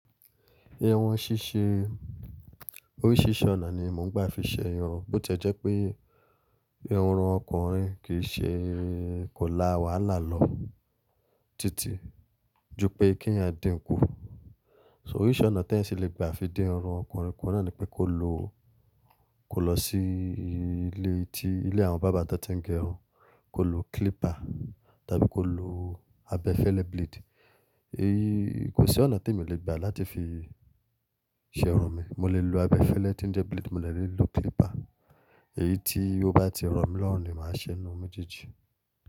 Irun ṣíṣe, oríṣiríṣi ọ̀nà ni mò ń gbà fi ṣe irun. Bo tiẹ́ jẹ́ pé ìrùn ọkùnrin kìí ṣe kò la wàhálà lọ títí ju pé k'éèyàn dínkù. So oríṣi ọ̀nà tí ẹ́ sì le gbà fi dín irun ọkùnrin kù náà ni pé ko lọ, ko lọ sí ilé tí ilé àwọn bàbá tó tí ń gé irun, ko lo clipper tàbí ko lo abẹ́ fẹlẹ blade. Èyí kò sí ọ̀nà tí mò lè gbà láti fi ṣe irun mi. Mo lè lo abẹ́ fẹlẹ tí ń jẹ́ blade, mo lè lọ lo clipper. Èyí tí ó bá ti rọ̀ mi lọ́hùn ni màá ṣe n'inú méjèjì.